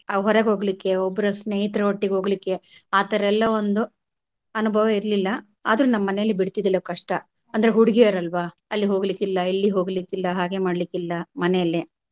ಹೊರಗ್ ಹೋಗ್ಲಿಕ್ಕೆ ಒಬ್ಬರ ಸ್ನೇಹಿತರೊಟ್ಟಿಗೆ ಹೋಗ್ಲಿಕ್ಕೆ ಆ ತರಾ ಎಲ್ಲಾ ಒಂದು ಅನುಭವ ಇರಲಿಲ್ಲ ಆದ್ರು ನಮ್ಮ ಮನೇಲಿ ಬಿಡತಿದಿಲ್ಲ ಕಷ್ಟ ಅಂದ್ರೆ ಹುಡುಗೀಯರ್ ಅಲ್ವಾ ಅಲ್ಲಿ ಹೋಗ್ಲಿಕ್ಕೆ ಇಲ್ಲಿ ಹೋಗ್ಲಿಕ್ಕೆ ಇಲ್ಲ ಹಾಗೆ ಮಾಡ್ಲಿಕಿಲ್ಲ ಮನೆಯಲ್ಲೆ.